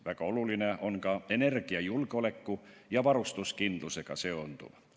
Väga oluline on ka energiajulgeoleku ja varustuskindlusega seonduv.